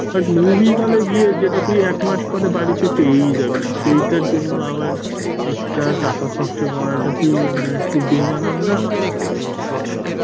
butmovie হলে গিয়ে যেটা তুই একমাস পরে পেয়ে যাবি সেটার জন্য আবার extra টাকা খরচ করাটা কি একটু বেমানান না?